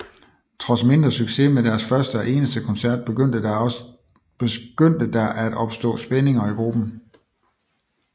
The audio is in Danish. Trods mindre succes med deres første og eneste koncert begyndte der at opstå spændinger i gruppen